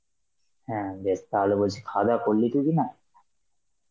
হ্যাঁ বেশ তাহলে বলছি খাওয়া দাওয়া করলি তুই কিনা?